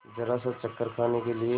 जरासा चक्कर खाने के लिए